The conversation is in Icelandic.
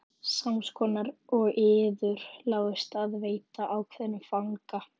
Sams konar og yður láðist að veita ákveðnum fanga.